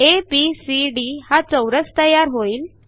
ABCD हा चौरस तयार होईल